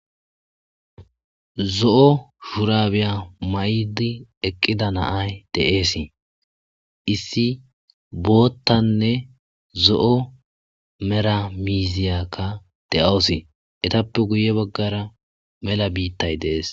zo7o shurabiya may7idi eqqida naay deeesii issi boottanne zo7o meramiziyakka de7awusi etappe guye baggara mela biittay deees